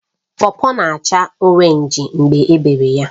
Pọpọ na-acha Orénj mgbe ebere ya